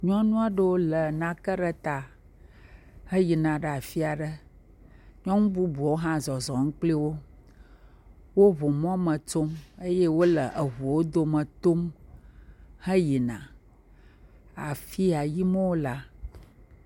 Nyɔnu aɖewo lé nake ɖe ta heyina ɖe afi aɖe, nyɔnu bubuwpo hã le zɔzɔm kpliwo wo ŋuwo me zɔm eye wole eŋuwo dome tom he yina afi ya yim wole.